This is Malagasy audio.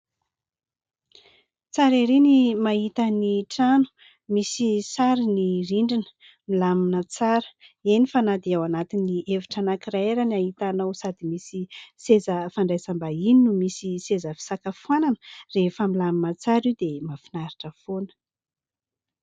Tsara ery ny mahita ny trano. Misy sary ny rindrina, milamina tsara. Eny fa na dia ao anatin'ny efitra anankiray ary no ahitanao sady misy seza fandraisam-bahiny no misy seza fisakafoanana, rehefa milamina tsara io dia mafinaritra foana.